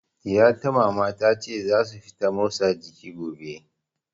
Ɗiya ta Mama, ta ce za su fita motsa jiki gobe.